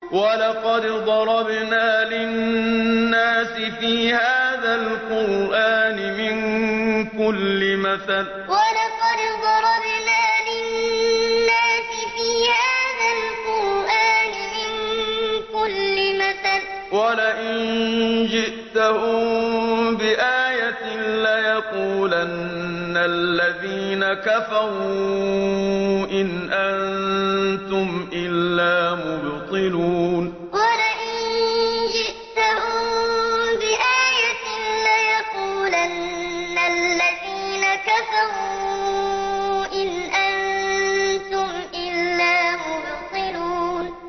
وَلَقَدْ ضَرَبْنَا لِلنَّاسِ فِي هَٰذَا الْقُرْآنِ مِن كُلِّ مَثَلٍ ۚ وَلَئِن جِئْتَهُم بِآيَةٍ لَّيَقُولَنَّ الَّذِينَ كَفَرُوا إِنْ أَنتُمْ إِلَّا مُبْطِلُونَ وَلَقَدْ ضَرَبْنَا لِلنَّاسِ فِي هَٰذَا الْقُرْآنِ مِن كُلِّ مَثَلٍ ۚ وَلَئِن جِئْتَهُم بِآيَةٍ لَّيَقُولَنَّ الَّذِينَ كَفَرُوا إِنْ أَنتُمْ إِلَّا مُبْطِلُونَ